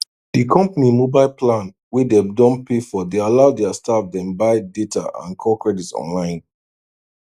di company mobile plan wey dem don pay for dey allow their staff dem buy data and call credit online